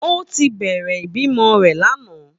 Ó ti bẹ̀rẹ̀ ìbímọ rẹ̀ lánàá.